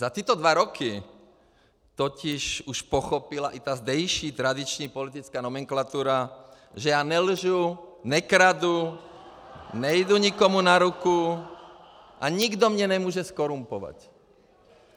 Za tyto dva roky totiž už pochopila i ta zdejší tradiční politická nomenklatura, že já nelžu, nekradu, nejdu nikomu na ruku a nikdo mě nemůže zkorumpovat.